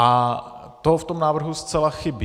A to v tom návrhu zcela chybí.